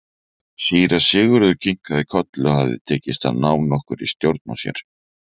Síra Sigurður kinkaði kolli og hafði tekist að ná nokkurri stjórn á sér.